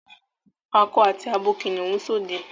Ako àti abo kìnìún n sode